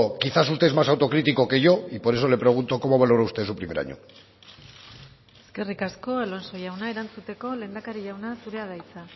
quizás usted es más autocritico que yo y por eso le pregunto cómo valora usted su primer año eskerrik asko alonso jauna erantzuteko lehendakari jauna zurea da hitza